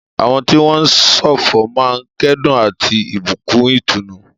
Àwọn tí wọ́n ń ṣọ̀fọ̀ máa ń kẹ́dùn àti ìbùkún ìtùnú.